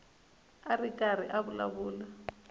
a ri karhi a vulavula